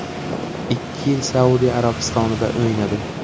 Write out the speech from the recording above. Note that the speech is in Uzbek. Ikki yil Saudiya Arabistonida o‘ynadi.